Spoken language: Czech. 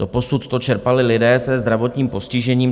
Doposud to čerpali lidé se zdravotním postižením.